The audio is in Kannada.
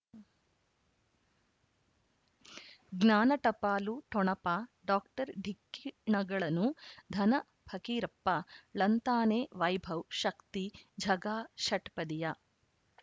ಜ್ಞಾನ ಟಪಾಲು ಠೊಣಪ ಡಾಕ್ಟರ್ ಢಿಕ್ಕಿ ಣಗಳನು ಧನ ಫಕೀರಪ್ಪ ಳಂತಾನೆ ವೈಭವ್ ಶಕ್ತಿ ಝಗಾ ಷಟ್ಪದಿಯ